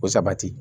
Ko sabati